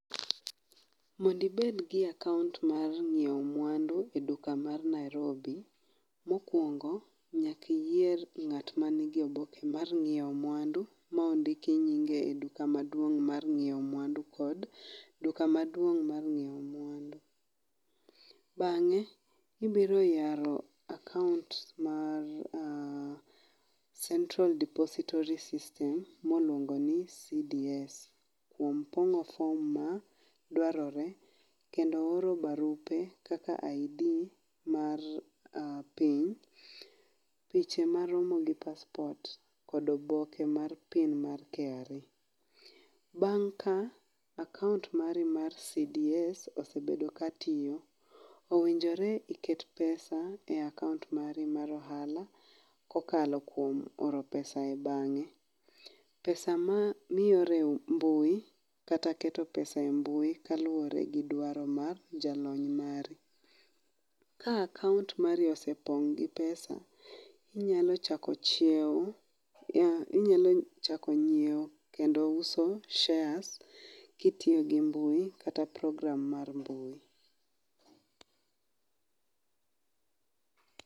Mondo ibed gi akaont mar nyiewo mwandu e duka mar Nairobi, mokuongo nyaka iyier ng'at man gi oboke mar nyiewo mwandu mo diki nyinge e duka maduong' mar nyiewo mwandu kod duka maduong' mar nyiewo mwandu. Bang' ibiro yawo akaont mar Central Depository System, miluongo ni CDS kuom pong'o form maduarore kendo oro barupe kaka ID mar piny picha maromo gi passport kod oboke mar pin mar KRA. Bang' ka akaont mari mar CDS osebedo ka tiyo, owinjore iket pesa e akaont mari mar ohala kokalo kuom oro pesa e bang'e pesa ma ioro e mbui kata keto pesa e mbui kaluwore gi dwaro mar jalony mari. Ka akaont mari osepong' gi pesa inyalo chako ng'iewo kendo uso shares kitiyo gi mbui kata program mar mbui